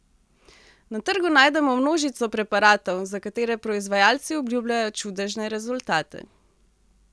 Na trgu najdemo množico preparatov, za katere proizvajalci obljubljajo čudežne rezultate.